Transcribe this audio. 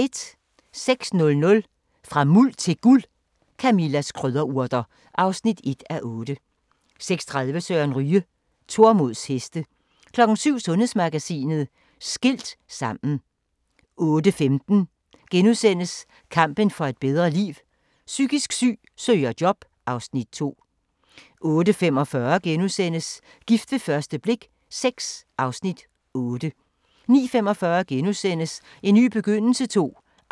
06:00: Fra Muld til Guld – Camillas krydderurter (1:8) 06:30: Søren Ryge: Tormods heste 07:00: Sundhedsmagasinet: Skilt sammen 08:15: Kampen for et bedre liv: Psykisk syg søger job (Afs. 2)* 08:45: Gift ved første blik VI (Afs. 8)* 09:45: En ny begyndelse II